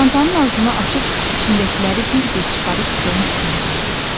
Çantanın ağzını açıb içindəkiləri bir-bir çıxarıb stolun üstünə düzdü.